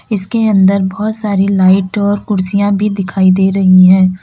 इसके अंदर बहोत सारी लाइट और कुर्सियां भी दिखाई दे रही है।